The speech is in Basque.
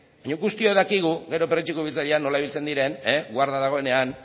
baino guztiok dakigu gero perretxiko biltzaileak nola ibiltzen diren guarda dagoenean